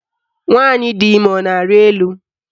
Nwaanyị di ime a na-arị elu?